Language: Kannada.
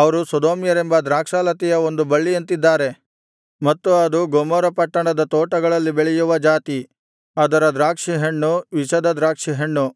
ಅವರು ಸೊದೋಮ್ಯರೆಂಬ ದ್ರಾಕ್ಷಾಲತೆಯ ಒಂದು ಬಳ್ಳಿಯಂತಿದ್ದಾರೆ ಮತ್ತು ಅದು ಗೊಮೋರ ಪಟ್ಟಣದ ತೋಟಗಳಲ್ಲಿ ಬೆಳೆಯುವ ಜಾತಿ ಅದರ ದ್ರಾಕ್ಷಿಹಣ್ಣು ವಿಷದ ದ್ರಾಕ್ಷಿಹಣ್ಣು